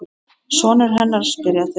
Sonur hennar? spyrja þeir.